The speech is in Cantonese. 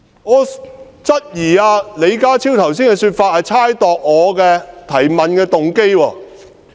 我質疑李家超剛才的說法是猜測我提問的動機。